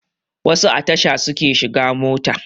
Wasu a tasha suke shiga mota